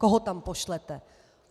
Koho tam pošlete?